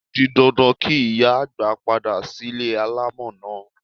O di dandan kí ìyá àgbà padà sílé alámọ̀ náà.